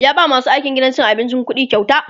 ya ba masu aikin gidan abincin ƙuɗikyauta